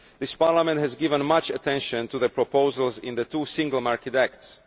This Parliament has given much attention to the proposals in the two single market acts.